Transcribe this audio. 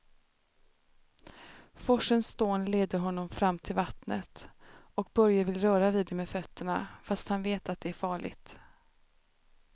Forsens dån leder honom fram till vattnet och Börje vill röra vid det med fötterna, fast han vet att det är farligt.